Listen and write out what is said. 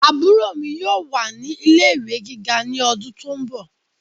Àbúrò mi yóò wà ní ilé ìwé gíga ní ọdún tó ń bọ̀